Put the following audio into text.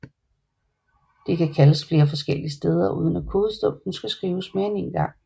De kan kaldes flere forskellige steder uden at kodestumpen skal skrives mere end en gang